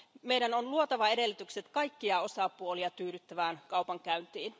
Meidän on luotava edellytykset kaikkia osapuolia tyydyttävään kaupankäyntiin.